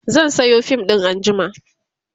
zan Sayo fim ɗin anjima